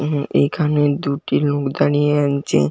উম এখানে দুটি লোক দাঁড়িয়ে আনছে।